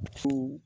Ko